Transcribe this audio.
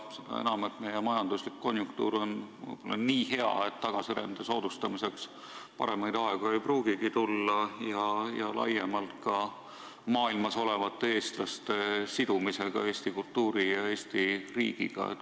Seda enam, et meie majanduslik konjunktuur on nii hea, et tagasirände soodustamiseks ei pruugigi paremaid aegu tulla, laiemalt võttes üldse välismaal olevate eestlaste sidumiseks eesti kultuuri ja Eesti riigiga.